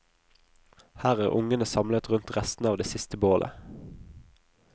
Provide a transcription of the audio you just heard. Her er ungene samlet rundt restene av det siste bålet.